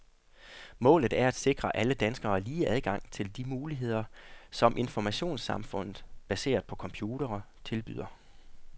Målet er at sikre alle danskere lige adgang til de muligheder, som informationssamfundet, baseret på computere, tilbyder.